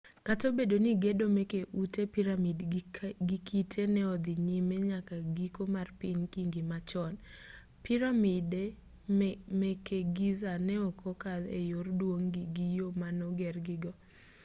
kata obedo ni gedo meke ute piramid gi kite ne odhi nyime nyaka giko mar piny kingi ma chon piramide meke giza ne okokadh eyor duong'gi gi yo mano gergigo